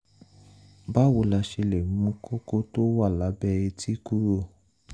báwo la ṣe lè mú kókó tó wà lábẹ́ etí kúrò?